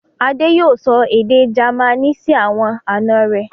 Adé yóò sọ èdè Jamaní sí àwọn àná rẹ̀.